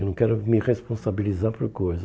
Eu não quero me responsabilizar por coisa.